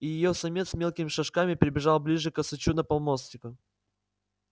и её самец мелкими шажками перебежал ближе к косачу на полмостика